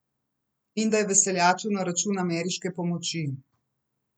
In da je veseljačil na račun ameriške pomoči.